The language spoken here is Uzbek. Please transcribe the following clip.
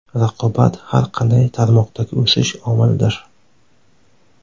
Raqobat – har qanday tarmoqdagi o‘sish omilidir.